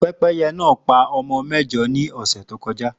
Pẹ́pẹ́yẹ náà pa ọmọ mẹ́jọ ní ọ̀sẹ̀ tó kọja